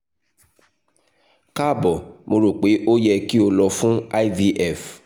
kaabo mo ro pe o yẹ ki o lọ fun ivf